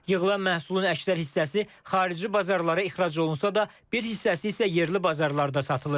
Yığılan məhsulun əksər hissəsi xarici bazarlara ixrac olunsa da, bir hissəsi isə yerli bazarlarda satılır.